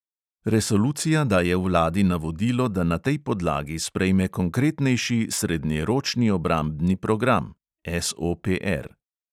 Resolucija daje vladi navodilo, da na tej podlagi sprejme konkretnejši srednjeročni obrambni program